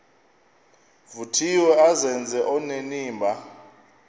vuthiwe azenze onenimba